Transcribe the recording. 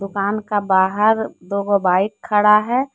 दुकान का बाहर दो गो बाइक खड़ा है।